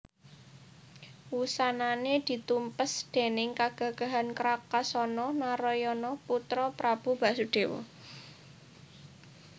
Wusanané ditumpes déning kagagahan Krakasana Narayana putra Prabu Basudéwa